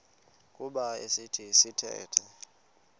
kuba esi sithethe